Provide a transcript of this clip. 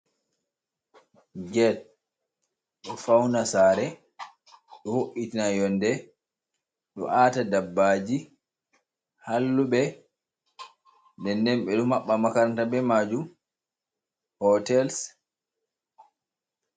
Get, ɗo fauna sare, ɗo vo'itina yonde, ɗo Ata dabbaji, halluɓe, den den ɓeɗo maɓɓa makaranta be majom, hotal.